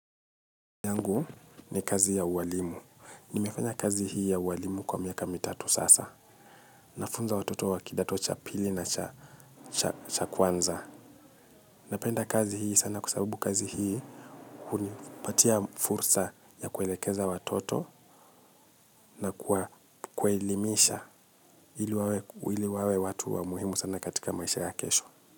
Angu ni kazi ya uwalimu. Nimefanya kazi hii ya uwalimu kwa miaka mitatu sasa. Nafunza watoto wa kidato cha pili na cha cha kwanza. Napenda kazi hii sana kwa sababu kazi hii hunipatia fursa ya kuelekeza watoto nakuwa kuelimisha ili wawe watu wa muhimu sana katika maisha ya kesho.